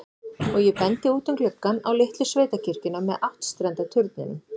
Og ég bendi út um gluggann, á litlu sveitakirkjuna með áttstrenda turninum.